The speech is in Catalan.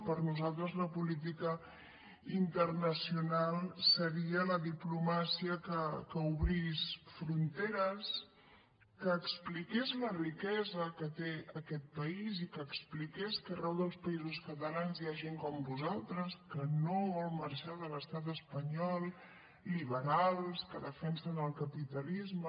per nosaltres la política internacional seria la diplomàcia que obrís fronteres que expliqués la riquesa que té aquest país i que expliqués que arreu dels països catalans hi ha gent com vosaltres que no vol marxar de l’estat espanyol liberals que defensen el capitalisme